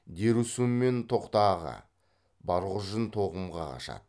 дерусүнмен тоқтааға барғұжын тоғымға қашады